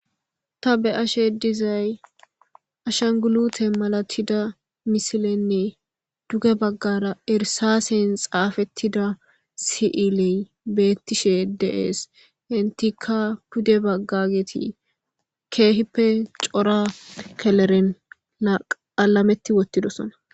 Ta be ashe dizay ashangulute malatida misilenne duge baggara erisasen xaafettida si7iley bettishe deees intika pude baggageti keehippe cora keleren aqalametti wottidosona.